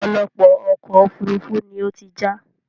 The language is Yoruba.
ọ̀pọ̀lọpọ̀ ọkọ̀ òfurufú ni ó ti já